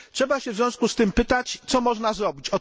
Trzeba w związku z tym zapytać, co można zrobić.